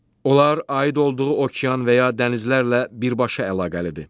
Onlar aid olduğu okean və ya dənizlərlə birbaşa əlaqəlidir.